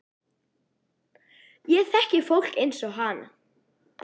Ég þekki fólk eins og hana.